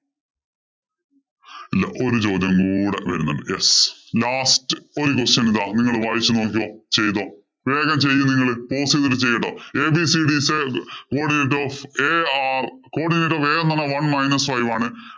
ഒരു ചോദ്യം കൂടെ വരുന്നുണ്ട്. Yes, last ഒരു question ഇതാ. നിങ്ങള്‍ വായിച്ചു നോക്കിക്കോ, ചെയ്തോ. വേഗം ചെയ്യ്‌ നിങ്ങള്. one minus five ആണ്.